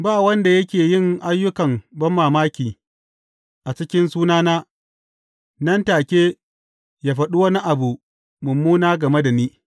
Ba wanda yake yin ayyukan banmamaki a cikin sunana, nan take yă faɗi wani abu mummuna game da ni.